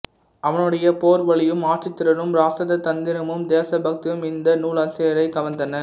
அவனுடைய போர் வலியும் ஆட்சித்திறனும் இராச தந்திரமும் தேச பக்தியும் இந்த நூலாசிரியரைக் கவர்ந்தன